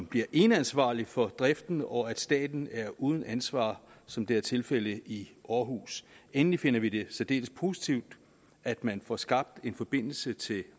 bliver eneansvarlig for driften og at staten er uden ansvar som det er tilfældet i århus endelig finder vi det særdeles positivt at man får skabt en forbindelse til